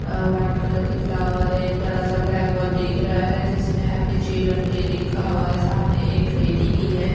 अ white colour के flower है एक बरा सा ब्लैकबोर्ड दिख रहा है जिसमें हैप्पी चिल्ड्रन डे लिखा हुआ है सामने एक लेडी भी है।